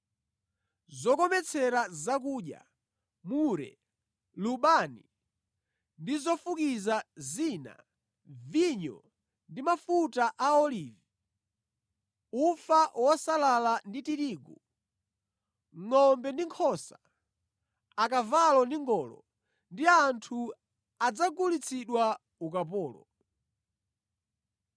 zokometsera zakudya, mure, lubani ndi zofukiza zina, vinyo ndi mafuta a olivi, ufa wosalala ndi tirigu; ngʼombe ndi nkhosa; akavalo ndi ngolo; ndi anthu adzagulitsidwa ukapolo.